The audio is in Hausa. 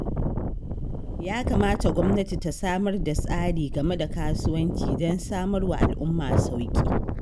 Ya kamata gwamnati ta samar da tsari game da kasuwanci don samar wa al'umma sauƙi.